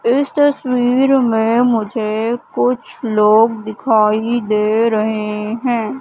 इस तस्वीर में मुझे कुछ लोग दिखाई दे रहे हैं।